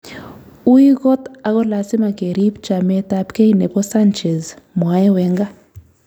"Ui kot ako lasima keriib chamet ab kei nebo Sanchez", mwae Wenga